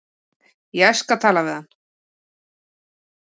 Ég skal tala við hann.